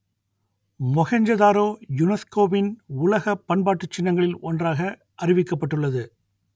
மொஹெஞ்சதாரோ யுனெஸ்கோவின் உலகப் பண்பாட்டுச் சின்னங்களில் ஒன்றாக அறிவிக்கப்பட்டுள்ளது